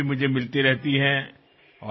এইবাৰ মুম্বাইলৈ যাওতে মুখামুখি হোৱাৰ মন আছিল